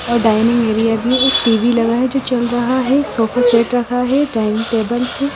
और dining area TV लगा है जो चल रहा है सोफा सेट रखा है डाइनिंग टेबल्स है।